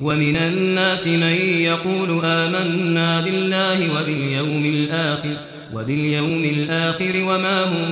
وَمِنَ النَّاسِ مَن يَقُولُ آمَنَّا بِاللَّهِ وَبِالْيَوْمِ الْآخِرِ وَمَا هُم